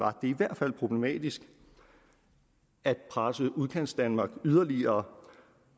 er i hvert fald problematisk at presse udkantsdanmark yderligere